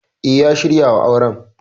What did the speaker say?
E, ya shirya wa auren.